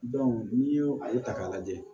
n'i y'o a ye ta k'a lajɛ